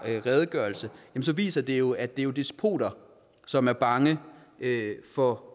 redegørelse viser det jo at det er despoter som er bange for